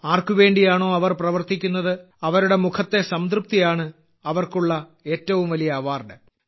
ആർക്കുവേണ്ടിയാണോ അവർ പ്രവർത്തിക്കുന്നത് അവരുടെ മുഖത്തെ സംതൃപ്തിയാണ് അവർക്കുള്ള ഏറ്റവും വലിയ അവാർഡ്